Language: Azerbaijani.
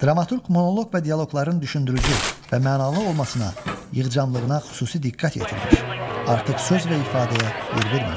Dramaturq monoloq və dialoqların düşündürücü və mənalı olmasına, yığcanlığına xüsusi diqqət yetirmiş, artıq söz və ifadəyə yer verməmişdir.